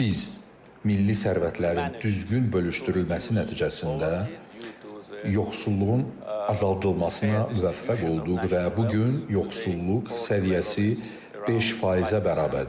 Biz milli sərvətlərin düzgün bölüşdürülməsi nəticəsində yoxsulluğun azaldılmasına müvəffəq olduq və bu gün yoxsulluq səviyyəsi 5%-ə bərabərdir.